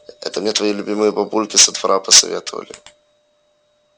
это мне твои любимые бабульки со двора посоветовали